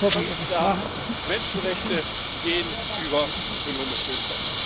Denn es ist völlig klar Menschenrechte gehen über ökonomische Interessen.